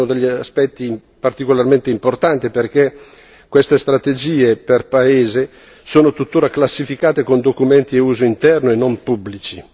Questo è uno degli aspetti particolarmente importanti, perché queste strategie per paese sono tuttora classificate come documenti a uso interno e non pubblici.